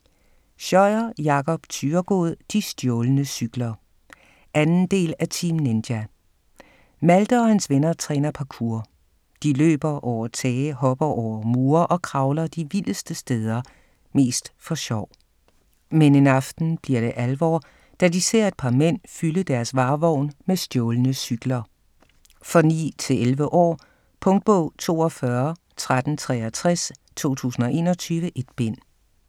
Scheuer, Jakob Thyregod: De stjålne cykler 2. del af Team Ninja. Malte og hans venner træner parkour. De løber over tage, hopper over mure og kravler de vildeste steder - mest for sjov. Men en aften bliver det alvor, da de ser et par mænd fylde deres varevogn med stjålne cykler. For 9-11 år. Punktbog 421363 2021. 1 bind.